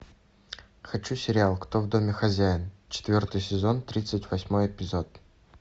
хочу сериал кто в доме хозяин четвертый сезон тридцать восьмой эпизод